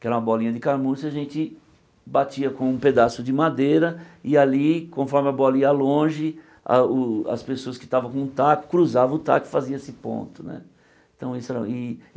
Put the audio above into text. que era uma bolinha de carmuça, a gente batia com um pedaço de madeira e ali, conforme a bola ia longe, a o as pessoas que estavam com o taco, cruzavam o taco e faziam esse ponto né. Então isso e e